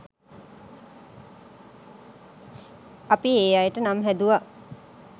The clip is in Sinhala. අපි ඒ අයට නම් හැදුවා